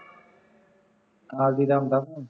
ਨਾਲ ਦੀ ਆਉਂਦਾ ਫੋਨ